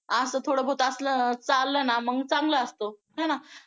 असं थोडं बहुत असलं चाललं ना मग चांगलं असतं आहे ना